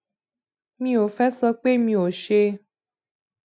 mi ò fé sọ pé mi ò ṣe